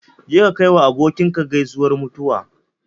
Je ka kai wa abokinka gaisuwar mutuwa